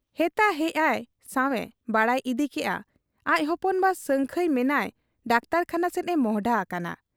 ᱦᱮᱛᱟ ᱦᱮᱡ ᱟᱭ ᱥᱟᱶ ᱮ ᱵᱟᱰᱟᱭ ᱤᱫᱤ ᱠᱮᱜ ᱟ ᱟᱡ ᱦᱚᱯᱚᱱ ᱵᱟ ᱥᱟᱹᱝᱠᱷᱟᱹᱭ ᱢᱮᱱᱟᱭ ᱰᱟᱠᱛᱚᱨᱠᱷᱟᱱᱟ ᱥᱮᱫ ᱮ ᱢᱚᱸᱦᱰᱟ ᱦᱟᱠᱟᱱᱟ ᱾